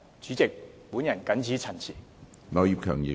主席，我謹此陳辭。